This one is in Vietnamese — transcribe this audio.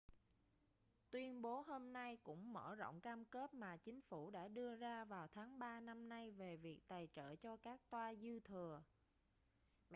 tuyên bố hôm nay cũng mở rộng cam kết mà chính phủ đã đưa ra vào tháng ba năm nay về việc tài trợ cho các toa dư thừa